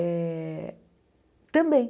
É... Também.